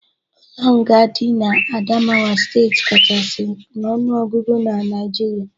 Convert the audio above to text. Ụlo nga di na Adamawa steeti kachasi n'ọnuogụgụ na Nigeria